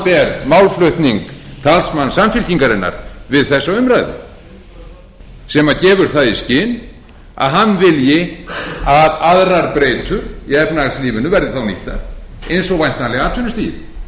samanber málflutning talsmanns samfylkingarinnar við þessa umræðu sem gefur það í skyn að hann vilji að aðrar breytur í efnahagslífinu verði þá nýttar eins og væntanlega atvinnustigið þegar hann er að gera lítið